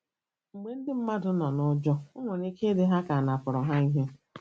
Mgbe ndị mmadụ nọ n'ụjọ, o nwere ike ịdị ha ka anapụrụ ha ike.